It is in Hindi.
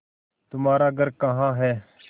तुम्हारा घर कहाँ है